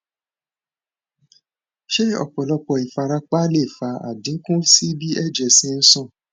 se opolopo ifarapa le fa adinku si bi eje se n san